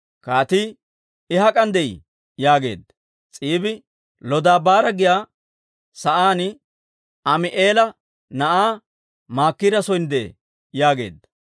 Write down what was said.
Kaatii, «I hak'an de'ii?» yaageedda. S'iibi, «Lodabaara giyaa sa'aan Ammi'eela na'aa Maakira son de'ee» yaageedda.